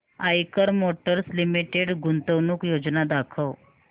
Eicher motors limited गुंतवणूक योजना दाखव